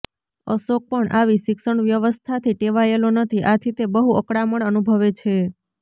અશોક પણ આવી શિક્ષણવ્યવસ્થાથી ટેવાયેલો નથી આથી તે બહુ અકળામણ અનુભવે છે